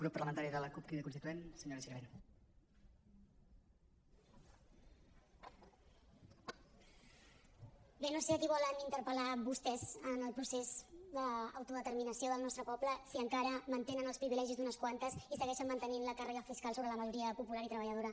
bé no sé a qui volen intentar interpel·lar vostès en el procés d’autodeterminació del nostre poble si encara mantenen els privilegis d’unes quantes i segueixen mante·nint la càrrega fiscal sobre la majoria popular i treballadora